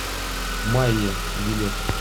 майя билет